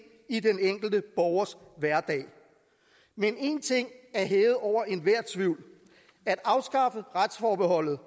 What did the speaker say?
i den enkelte borgers hverdag men én ting er hævet over enhver tvivl at afskaffe retsforbeholdet